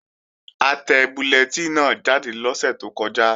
A tẹ bullẹtínì náà jáde lọ́sẹ̀ tó kọjá